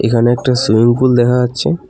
এখানে একটা swimming pool দেখা যাচ্ছে।